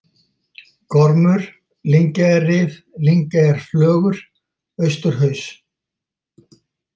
Gormur, Lyngeyjarrif, Lyngeyjarflögur, Austurhaus